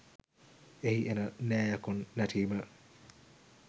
එහි එන නෑ යකුන් නැටීම